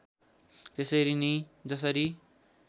त्यसरी नै जसरी